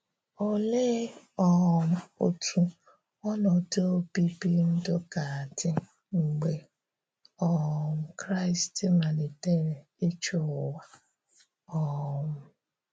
Òlee um otú̀ ònọdụ̀ obíbì ndụ̀ ga-adí́ mgbè um Kraị́st maliterè ịchị̀ ụ̀wà? um